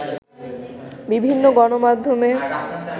বিভিন্ন গণমাধ্যমে